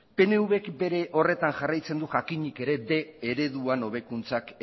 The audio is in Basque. pnvk bere horretan jarraitzen du jakinik ere bostehun ereduan hobekuntzak